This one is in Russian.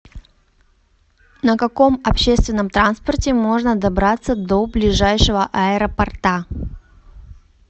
на каком общественном транспорте можно добраться до ближайшего аэропорта